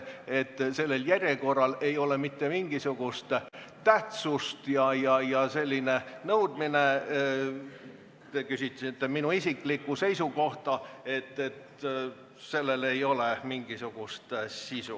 Ütlesin, et sellel järjekorral ei ole mingisugust tähtsust ja et sellisel nõudmisel – te küsisite minu isiklikku seisukohta – ei ole mingisugust sisu.